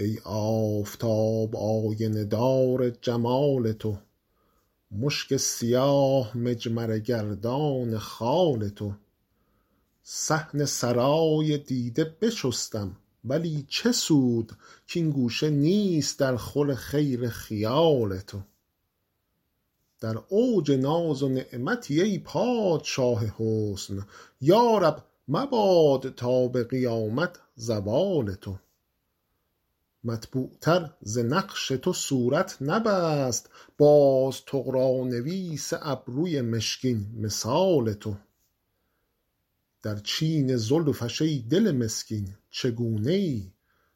ای آفتاب آینه دار جمال تو مشک سیاه مجمره گردان خال تو صحن سرای دیده بشستم ولی چه سود کـ این گوشه نیست درخور خیل خیال تو در اوج ناز و نعمتی ای پادشاه حسن یا رب مباد تا به قیامت زوال تو مطبوعتر ز نقش تو صورت نبست باز طغرانویس ابروی مشکین مثال تو در چین زلفش ای دل مسکین چگونه ای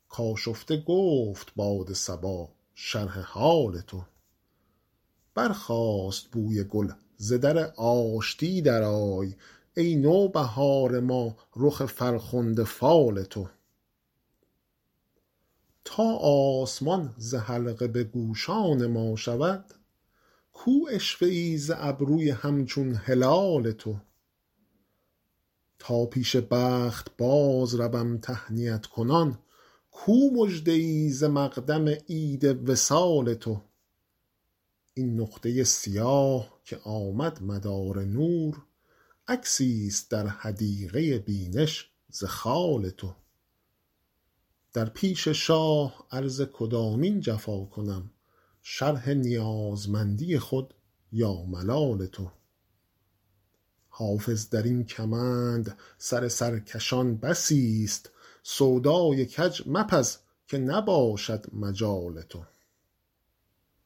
کآشفته گفت باد صبا شرح حال تو برخاست بوی گل ز در آشتی درآی ای نوبهار ما رخ فرخنده فال تو تا آسمان ز حلقه به گوشان ما شود کو عشوه ای ز ابروی همچون هلال تو تا پیش بخت بازروم تهنیت کنان کو مژده ای ز مقدم عید وصال تو این نقطه سیاه که آمد مدار نور عکسیست در حدیقه بینش ز خال تو در پیش شاه عرض کدامین جفا کنم شرح نیازمندی خود یا ملال تو حافظ در این کمند سر سرکشان بسیست سودای کج مپز که نباشد مجال تو